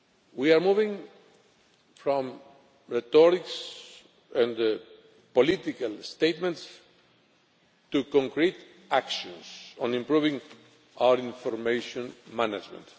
We are moving from rhetoric and political statements to concrete actions on improving our information management.